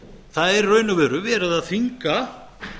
það er í raun og veru verið að þvinga